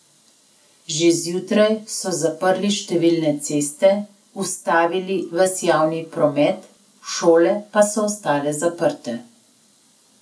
Že zjutraj so zaprli številne ceste, ustavili ves javni promet, šole pa so ostale zaprte.